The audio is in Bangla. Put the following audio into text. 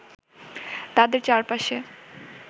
তাদের চার পাশে